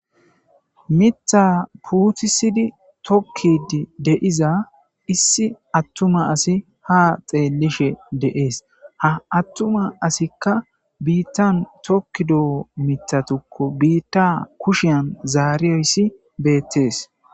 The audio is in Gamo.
Mitha puuthisidi tokkid deiza issi attuma asi ha xeellishe deees ha attuma asikka biittan tokkidoo mitatukko biitta kushiyan zaariyoyssi beettees.